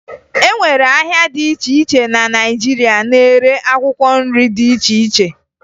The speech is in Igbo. E nwere ahịa dị iche iche na Naịjirịa na-ere akwụkwọ nri dị iche iche